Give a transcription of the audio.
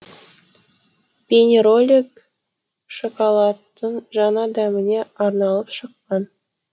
бейнеролик шоколадтың жаңа дәміне арналып шыққан